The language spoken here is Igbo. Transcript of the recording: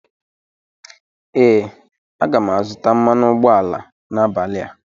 ee, aga m azụta mmanụ ụgbọala n 'abalị a